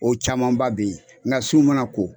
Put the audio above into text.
O camanba bɛ yen nka su mana ko